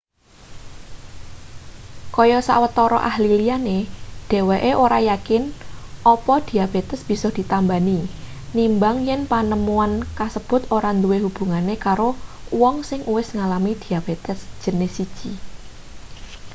kaya sawetara ahli liyane dheweke ora yakin apa diabetes bisa ditambani nimbang yen panemuan kasebut ora duwe hubungane karo uwong sing uwis ngalami diabetes jinis 1